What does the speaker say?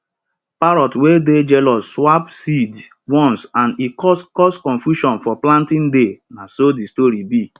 parrot wey dey jealous swap seeds once and e cause cause confusion for planting day na so de story be